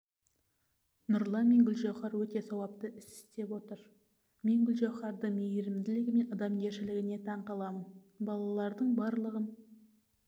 нұрлан мен гүлжауһар өте сауапты іс істеп отыр мен гүлжауһардың мейірімділігі мен адамгершілігіне таңқаламын балалардың барлығын